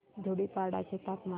धुडीपाडा चे तापमान